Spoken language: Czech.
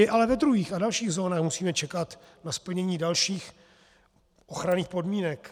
I ale ve druhých a dalších zónách musíme čekat na splnění dalších ochranných podmínek.